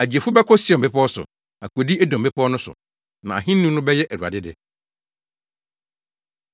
Agyefo bɛkɔ Sion bepɔw so, akodi Edom mmepɔw no so. Na ahenni no bɛyɛ Awurade de!